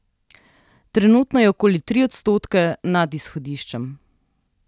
Trenutno je okoli tri odstotke nad izhodiščem.